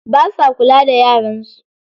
Basa kula da yaran su.